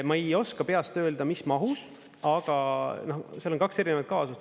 Ma ei oska peast öelda, mis mahus, aga seal on kaks erinevat kaasust.